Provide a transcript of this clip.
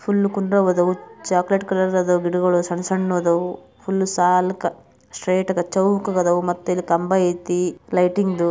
Full ಹುಲ್ಲುಕುಂದ ಹೂವು chocolate colour ಗಿಡಗಳು ಸಣ್ಣ ಸಣ್ಣ ಅದವು ಫುಲ್ ಸಾಲುಕ ಸ್ಟ್ರೆಟಕ್ ಚೌಕಗದವು ಮತ್ತೆ ಕಂಬ ಐತಿ ಲೈಟಿಂಗ್ ದು .